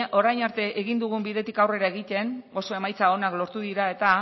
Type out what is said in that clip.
orain arte egin dugun bidetik aurrera egiten oso emaitza onak lortu dira eta